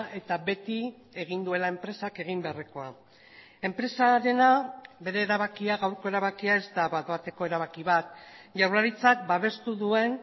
eta beti egin duela enpresak egin beharrekoa enpresarena bere erabakia gaurko erabakia ez da bat bateko erabaki bat jaurlaritzak babestu duen